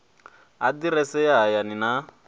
aḓirese ya hayani na ya